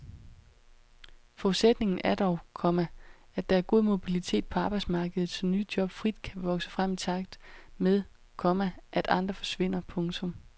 Forudsætningen er dog, komma at der er god mobilitet på arbejdsmarkedet så nye job frit kan vokse frem i takt med, komma at andre forsvinder. punktum